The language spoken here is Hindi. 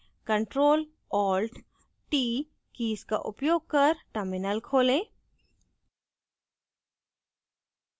ctrl + alt + t कीज का उपयोग कर terminal खोलें